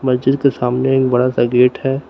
मस्जिद के सामने एक बड़ा सा गेट है।